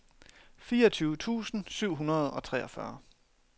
fireogtyve tusind syv hundrede og treogfyrre